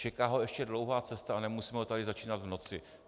Čeká ho ještě dlouhá cesta a nemusíme ho tady začínat v noci.